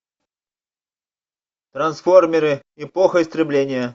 трансформеры эпоха истребления